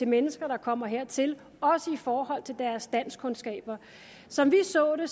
mennesker der kommer hertil også i forhold til deres danskkundskaber som vi så det